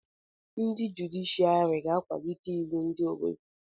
Ndị jụdịshịàrị ga-akwalite iwu ndị Obodo